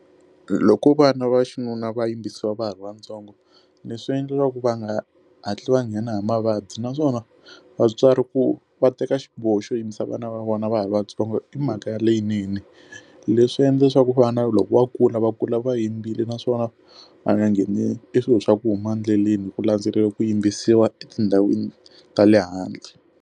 Loko vana va xinuna va yimbisiwa va ha ri vatsongo ni swi endlaka ku va nga hatli va nghena hi mavabyi naswona vatswari ku va teka xiboho xo yimbisa vana va vona va ha ri vatsongo i mhaka ya leyinene leswi endla leswaku vana loko va kula va kula va yimbile naswona va nga ngheni i swilo swa ku huma endleleni hi ku landzelela ku yimbisiwa etindhawini ta le handle.